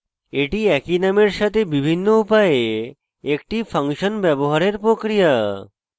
এটি একই নামের সাথে বিভিন্ন উপায়ে একটি ফাংশন ব্যবহারের প্রক্রিয়া